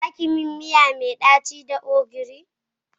Za ki yi min miya mai daci da ogiri.